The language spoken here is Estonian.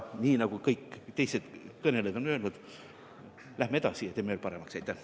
Nii nagu kõik teised kõnelejad on öelnud, ütlen ka mina: läheme edasi ja teeme seaduse veel paremaks!